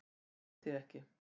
Ég skil þig ekki